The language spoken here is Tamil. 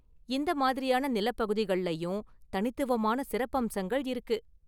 இந்த மாதிரியான நிலப்பகுதிகள்லயும் தனித்துவமான சிறப்பம்சங்கள் இருக்கு.